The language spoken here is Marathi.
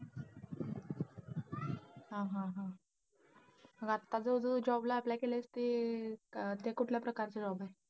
हा हा हा. आणि आता जो तू job ला apply केलंयस ते अं कुठल्या प्रकार चा job आहे.